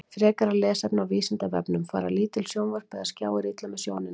Frekara lesefni á Vísindavefnum: Fara lítil sjónvörp eða skjáir illa með sjónina?